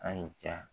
An y'i ja